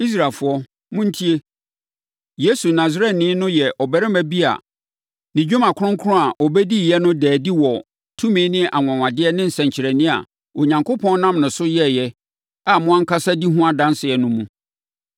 “Israelfoɔ, montie! Yesu Nasareni no yɛ ɔbarima bi a ne dwuma kronkron a ɔbɛdiiɛ no daa adi wɔ tumi ne anwanwadeɛ ne nsɛnkyerɛnneɛ a Onyankopɔn nam ne so yɛeɛ a mo ankasa di ho adanseɛ no mu.